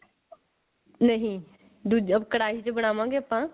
ਨਹੀਂ ਦੂਜਾ ਕੜਾਹੀ ਚ ਬਣਾਵਾਂਗੇ ਆਪਾਂ